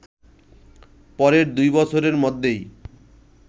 পরের দুই বছরের মধ্যেই